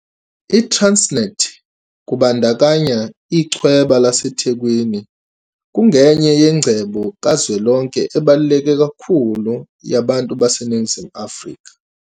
ITransnet, kubandakanya Ichweba laseThekwini, kungenye yengcebo kazwelonke ebaluleke kakhulu yabantu baseNingizimu Afrika.